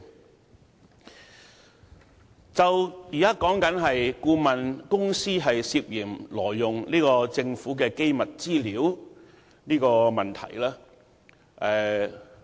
我們現在討論的問題，是顧問公司涉嫌挪用政府的機密資料。